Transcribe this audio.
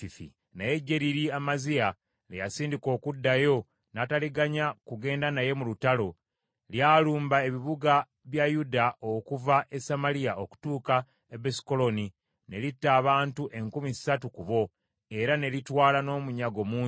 Naye eggye liri Amaziya lye yasindika okuddayo, n’ataliganya kugenda naye mu lutalo; lyalumba ebibuga bya Yuda okuva e Samaliya okutuuka e Besukolooni, ne litta abantu enkumi ssatu ku bo, era ne litwala n’omunyago mungi.